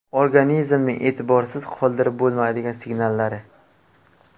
Organizmning e’tiborsiz qoldirib bo‘lmaydigan signallari .